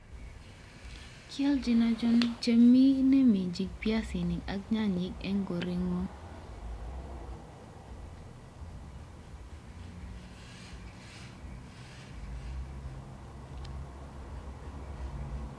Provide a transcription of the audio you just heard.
Kelchin ochon chemi ineminjin piaisinik ak nyanyik en koreng'wong'.?